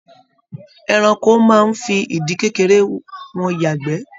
Ẹranko máa n fí ìdí kékeré wọn yagbẹ́.